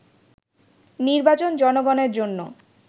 “নির্বাচন জনগণের জন্য